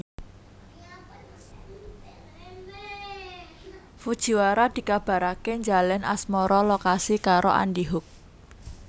Fujiwara dikabaraké njalin asmara lokasi karo Andy Hug